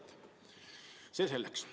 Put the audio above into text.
Ent see selleks.